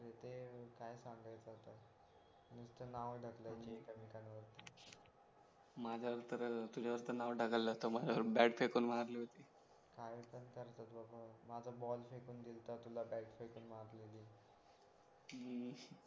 तर त नाव ढकलायचे एकमेकांवरती माझ्यावरच तुझ्यावर नाव ढकललं होतं माझ्यावर बॅट फेकून मारली होती काय पण करतो बाप्पा माझा बॉल फेकून दिलता तुला बॅट फेकून मारलेली